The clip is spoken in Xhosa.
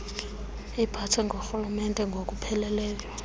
iphathwe ngurhulumente ngokupheleleyo